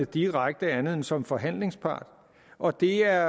direkte andet end som forhandlingspart og det er